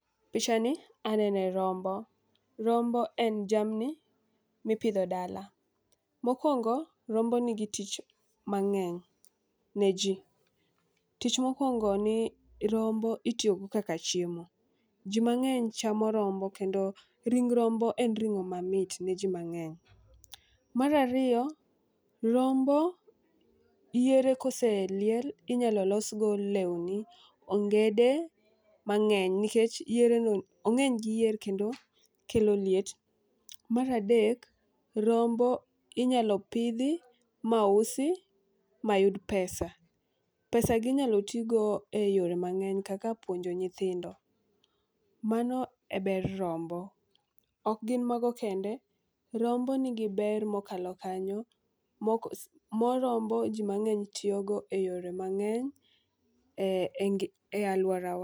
Picha ni anene rombo, rombo en jamni mipidho dala. Mokwongo rombo nigi tich mang'eny ne jii. Tich mokwongo ni rombo itiyo go kaka chiemo , jii mang'eny chamo rombo kendo ring rombo en ring'o mamit ne jii mang'eny . Mar ariyo , rombo yiere koseliel inyalo los go lewni, ongede mang'eny nikech yiere nge'ny ong'eny gi yier kendo kelo liet. Mar adek rombo inyalo pidhi mausi mayud pesa pesa gi inyalo tigo eyore mang'eny kaka puonjo nyithindo, mano e ber rombo. Ok gin mago kende rombo nigi ber mokalo kanyo moko moo rombo jii mang'eny tiyo go e yore mang'eny e ngi e aluorawa.